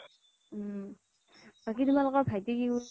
উম বাকী তোমালোকৰ ভাইটি কি কৰিছে